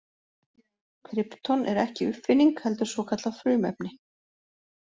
Krypton er ekki uppfinning heldur svokallað frumefni.